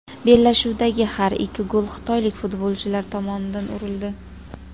Bellashuvdagi har ikki gol xitoylik futbolchilar tomonidan urildi.